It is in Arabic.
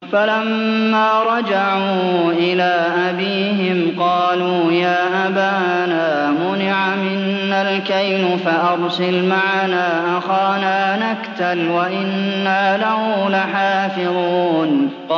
فَلَمَّا رَجَعُوا إِلَىٰ أَبِيهِمْ قَالُوا يَا أَبَانَا مُنِعَ مِنَّا الْكَيْلُ فَأَرْسِلْ مَعَنَا أَخَانَا نَكْتَلْ وَإِنَّا لَهُ لَحَافِظُونَ